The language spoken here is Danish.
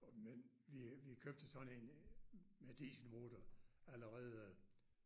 Og men vi vi købte sådan en øh med dieselmotor allerede